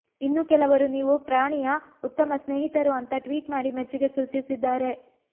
ಇನ್ನೂ ಕೆಲವರು ನೀವು ಪ್ರಾಣಿಯ ಉತ್ತಮ ಸ್ನೇಹಿತರು ಅಂತಾ ಟ್ವೀಟ್ ಮಾಡಿ ಮೆಚ್ಚುಗೆ ಸೂಚಿಸಿದ್ದಾರೆ